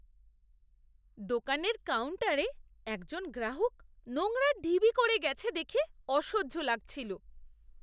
দোকানের কাউন্টারে একজন গ্রাহক নোংরার ঢিবি করে গেছে দেখে অসহ্য লাগছিল।